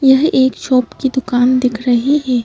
यह एक शॉप की दुकान दिख रही है।